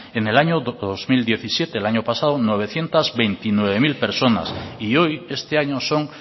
en el año dos mil diecisiete el año pasado novecientos veintinueve mil personas y hoy este año son